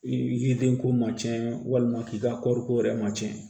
I yiridenko ma tiɲɛ walima k'i ka kɔɔriko yɛrɛ ma tiɲɛ